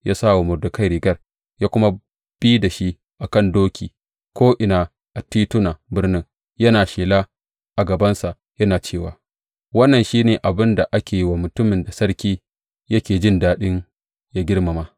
Ya sa wa Mordekai rigar, ya kuma bi da shi a kan doki ko’ina a titunan birnin, yana shela a gabansa yana cewa, Wannan shi ne abin da ake yi wa mutumin da sarki yake jin daɗi yă girmama!